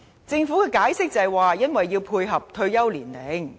政府解釋說要配合退休年齡。